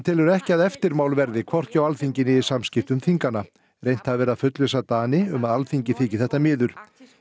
telji ekki að eftirmál verði hvorki á Alþingi né í samskiptum þinganna reynt hafi verið að fullvissa Dani um að Alþingi þyki þetta miður